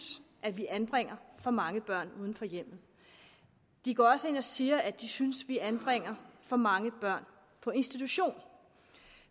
at vi anbringer for mange børn uden for hjemmet de går også ind og siger at de synes at vi anbringer for mange børn på institution